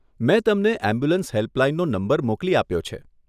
મે તમને એમ્બ્યુલન્સ હેલ્પલાઈનનો નંબર મોકલી આપ્યો છે.